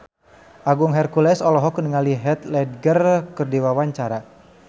Agung Hercules olohok ningali Heath Ledger keur diwawancara